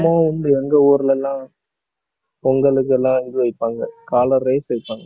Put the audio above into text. வந்து எங்க ஊர்ல எல்லாம் பொங்கலுக்கு எல்லாம் இது வைப்பாங்க காளை race வைப்பாங்க